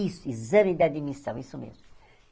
Isso, exame de admissão, isso mesmo.